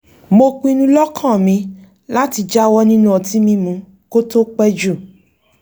mo pinnu lọ́kàn mi láti jáwọ́ nínú ọtí mímu kó tó pẹ́ jù